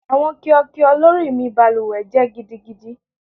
Awọn kio kio lori mi baluwe jẹ gidigidi Rusty